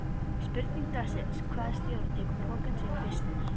Spurning dagsins: Hvaða stjóri tekur pokann sinn fyrstur?